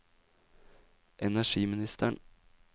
energiministeren